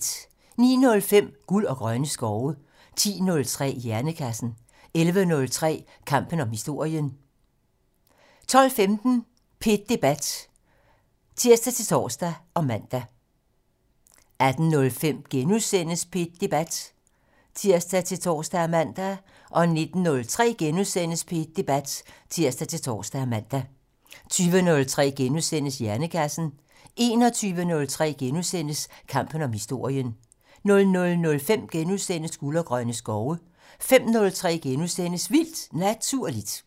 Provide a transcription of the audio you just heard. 09:05: Guld og grønne skove 10:03: Hjernekassen 11:03: Kampen om historien 12:15: P1 Debat (tir-tor og man) 18:05: P1 Debat *(tir-tor og man) 19:03: P1 Debat *(tir-tor og man) 20:03: Hjernekassen * 21:03: Kampen om historien * 00:05: Guld og grønne skove * 05:03: Vildt Naturligt *